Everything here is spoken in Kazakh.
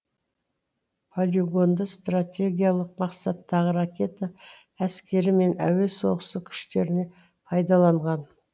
полигонды стратегиялық мақсаттағы ракета әскері мен әуе соғысы күштеріне пайдаланған